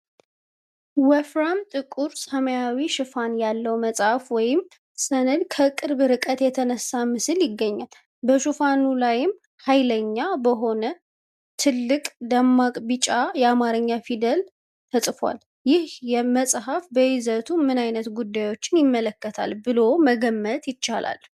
ወፍራም ጥቁር ሰማያዊ ሽፋን ያለው መጽሐፍ ወይም ሰነድ ከቅርብ ርቀት የተነሳ ምስል ይገኛል፤ በሽፋኑ ላይ "ሀይለኛ" በሆነ ትልቅ፣ ደማቅ ቢጫ የአማርኛ ፊደላት ተጽፏል። ይህ መጽሐፍ በይዘቱ ምን ዓይነት ጉዳዮችን ይመለከታል ብሎ መገመት ይቻላል?